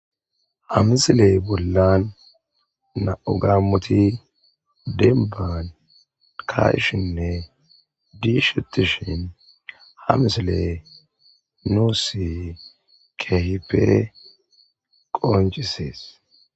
Ha misile bolla nam'u gaamoti demban ka'ishinne dishetishn ha misiley nuusi keehippe qoncises.